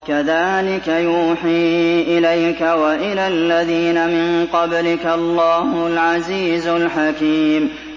كَذَٰلِكَ يُوحِي إِلَيْكَ وَإِلَى الَّذِينَ مِن قَبْلِكَ اللَّهُ الْعَزِيزُ الْحَكِيمُ